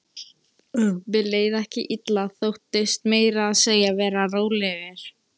Mér leið ekki illa, þóttist meira að segja vera rólegur.